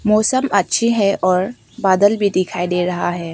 मौसम अच्छी है और बादल भी दिखाई दे रहा है।